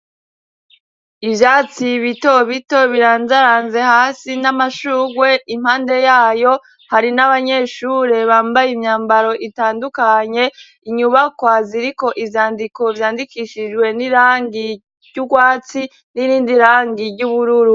Ivyatsi bito bito birandaranze hasi n'amashurwe impande yayo, hari n'abanyeshure bambaye imyambaro itandukanye. Inyubakwa ziriko ivyandiko vyandikishijwe n'irangi ry'urwatsi, n'irindi rangi ry'ubururu.